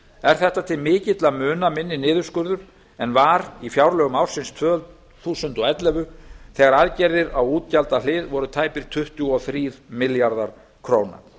er þetta til mikilla muna minni niðurskurður en var í fjárlögum ársins tvö þúsund og ellefu þegar aðgerðir á útgjaldahlið voru tæpir tuttugu og þrír milljarðar króna